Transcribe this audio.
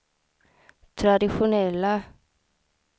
traditionella